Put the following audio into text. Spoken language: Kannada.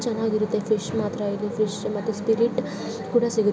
ಚೆನ್ನಾಗಿರುತ್ತೆ ಫಿಶ್ ಮಾತ್ರ ಇಲ್ಲಿ ಫಿಶ್ ಮತ್ತೆ ಸ್ಪಿರಿಟ್ ಕೂಡ ಸಿಗುತ್ತೆ.